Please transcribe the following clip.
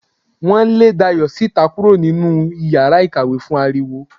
Wo lè Dayo sítá kúrò nínú iyàrá ìkàwé fún aríwó